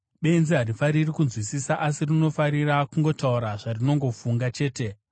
Benzi harifariri kunzwisisa, asi rinofarira kungotaura zvarinofunga chete.